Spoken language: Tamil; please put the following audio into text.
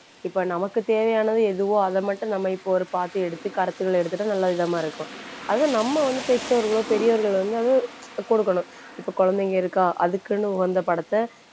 இப்ப நமக்கு தேவையானது எதுவோ அதை மட்டும் நம்ம இப்ப ஒரு பார்த்து எடுத்து கருத்துகளை எடுத்துட்டா நல்லவிதமா இருக்கும் அதுவும் நம்ம வந்து பெற்றோர்களோ பெரியோர்களோ வந்து அது கொடுக்கணும். இப்ப குழந்தைங்க இருக்கா அதுக்குன்னு உகந்த படத்தை